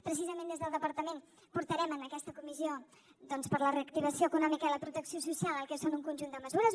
precisament des del departament portarem a aquesta comissió doncs per a la reactivació econòmica i la protecció social el que són un conjunt de mesures